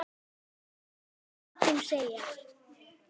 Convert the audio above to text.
Skal engum segja.